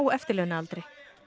eftirlaunaaldri